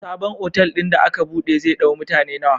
Sabon otal din da aka buɗe zai dau mutane nawa?